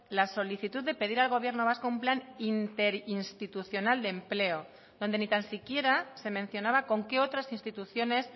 la solicitud de pedir al gobierno vasco un plan interinstitucional de empleo donde ni tan siquiera se mencionaba con qué otras instituciones